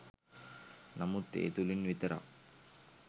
නමුත් ඒ තුළින් විතරක්